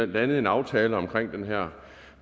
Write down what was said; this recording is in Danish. landede aftalen om den her